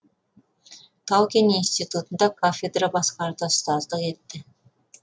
тау кен институтында кафедра басқарды ұстаздық етті